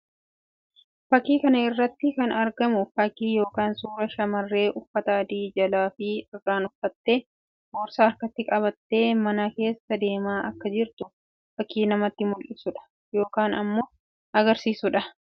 Fakkii kana irratti kan argamu fakkii yookiin suuraa shamarree uffata adii jalaa fi irraan uffattee boorsaa harkatti qabattee mana keessa deemaa akka jirtu fakkii namatti mullisuu dha yookiin immoo agarsiisuu dha.